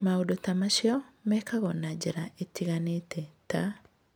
Maũndũ ta macio mekagwo na njĩra itiganĩte, ta: